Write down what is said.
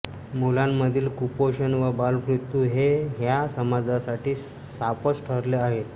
मुलांमधील कुपोषण व बालमृत्यू हे ह्या समाजासाठी शापच ठरले आहेत